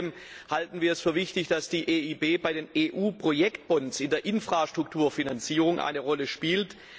Außerdem halten wir es für wichtig, dass die EIB bei den EU Projektbonds in der Infrastrukturfinanzierung eine Rolle spielt.